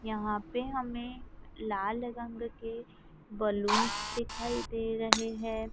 यहां पे हमें लाल रंग के बैलून दिखाई दे रहे हैं।